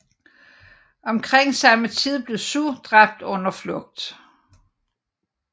Omkring samme tid blev Xu dræbt under flugt